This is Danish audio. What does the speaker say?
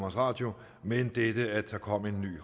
radio men dette at der kommer en ny